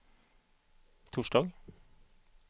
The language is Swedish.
torsdag